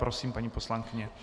Prosím, paní poslankyně.